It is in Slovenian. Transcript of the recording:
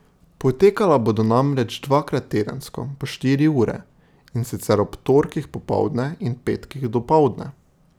Potekala bodo namreč dvakrat tedensko po štiri ure, in sicer ob torkih popoldne in petkih dopoldne.